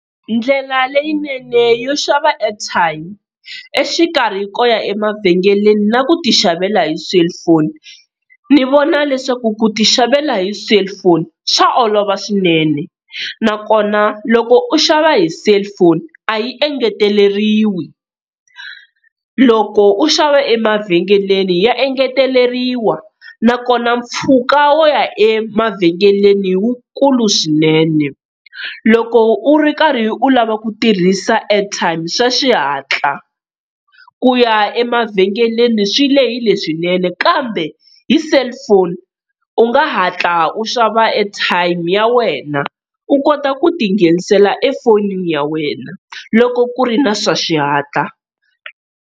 Ndlela leyinene yo xava airtime exikarhi ko ya emavhengeleni na ku ti xavela hi cellphone, ni vona leswaku ku ti xavela hi cellphone swa olova swinene, nakona loko u xava hi cellphone a yi engeteleriwi loko u xava emavhengeleni ya engeteleriwa nakona mpfhuka wo ya emavhengeleni wukulu swinene. Loko u ri karhi u lava ku tirhisa airtime swa xihatla, ku ya emavhengeleni swi lehile swinene, kambe hi cellphone u nga hatla u xava airtime ya wena u kota ku ti nghenisela efonini ya wena loko ku ri na swa xihatla.